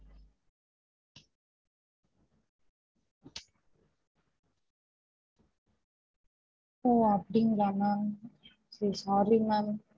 ஓ அப்புடிங்களா ma'am so sorry ma'am